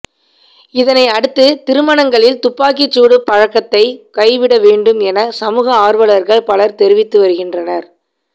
இதனை அடுத்து திருமணங்களில் துப்பாக்கிசூடு பழக்கத்தை கைவிட வேண்டும் என சமூக ஆர்வலர்கள் பலர் தெரிவித்து வருகின்றனர்